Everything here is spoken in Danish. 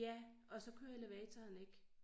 Ja og så kører elevatoren ikke